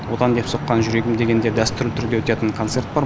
отан деп соққан жүрегім деген де дәстүрлі түрде өтетін концерт бар